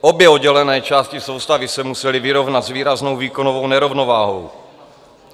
Obě oddělené části soustavy se musely vyrovnat s výraznou výkonovou nerovnováhou.